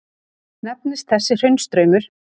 Nefnist þessi hraunstraumur